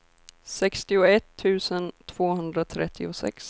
sextioett tusen tvåhundratrettiosex